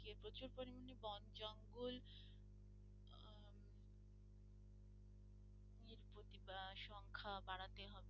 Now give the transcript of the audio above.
বাড়াতে হবে।